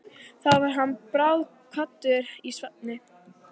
Þá varð hann bráðkvaddur í svefni.